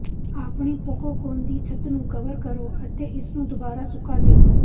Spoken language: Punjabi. ਆਪਣੀ ਪੋਕੌਕੌਨ ਦੀ ਛੱਤ ਨੂੰ ਕਵਰ ਕਰੋ ਅਤੇ ਇਸਨੂੰ ਦੁਬਾਰਾ ਸੁਕਾ ਦਿਉ